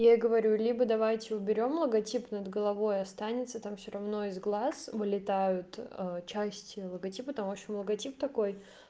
я говорю либо давайте уберём логотип над головой останется там всё равно из глаз вылетают часть логотипа там в общем логотип такой